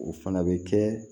O fana bɛ kɛ